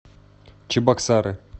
чебоксары